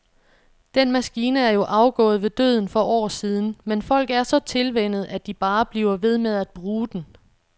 Den maskine er jo afgået ved døden for år siden, men folk er så tilvænnet, at de bare bliver ved med at bruge den.